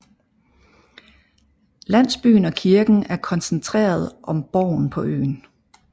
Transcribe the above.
Landsbyen og kirken er koncentreret om borgen på øen